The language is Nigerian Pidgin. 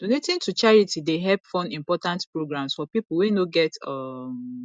donating to charity dey help fund important programs for pipo wey no get um